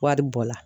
Wari bɔ la